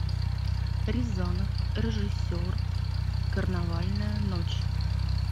рязанов режиссер карнавальная ночь